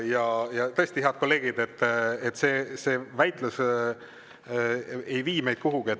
Aga tõesti, head kolleegid, see väitlus ei vii meid kuhugi.